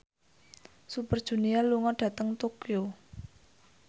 Super Junior lunga dhateng Tokyo